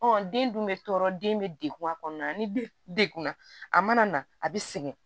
den dun bɛ tɔɔrɔ den bɛ degun a kɔnɔna na ni degunna a mana na a bɛ sɛgɛn